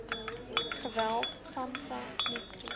geweld famsa nicro